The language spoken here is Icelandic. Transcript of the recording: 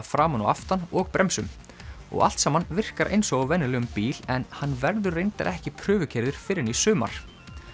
framan og aftan og bremsum og allt saman virkar eins og á venjulegum bíl en hann verður reyndar ekki fyrr en í sumar